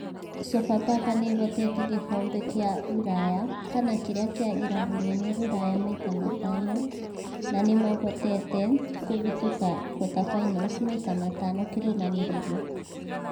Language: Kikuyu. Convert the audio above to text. Sofapaka nĩ ĩhotete gĩkombe kĩa Rũraya kana kĩrĩa kĩa ĩrabu nene Rũraya maita matano na nĩmahotete kũhĩtũka quater finals maita matano kĩrumanĩrĩrio